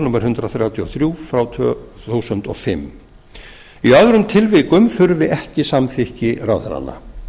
númer hundrað þrjátíu og þrjú tvö þúsund og fimm í öðrum tilvikum þurfi ekki samþykki ráðherranna